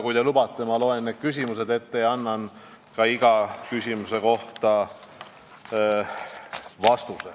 Kui te lubate, siis ma loen need küsimused ette ja annan ka vastuse iga küsimuse kohta.